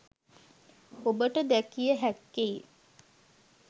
ඔබට දැකිය හැක්කේ